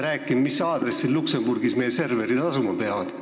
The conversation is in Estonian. ... rääkima, mis aadressil Luksemburgis meie serverid asuma hakkavad.